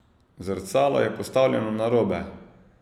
Zrcalo je postavljeno narobe!